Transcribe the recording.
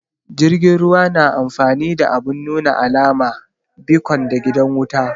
Jirgin ruwa na amfani da abun nuna alama, becon da gidan wuta